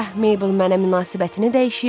gah Meybl mənə münasibətini dəyişir,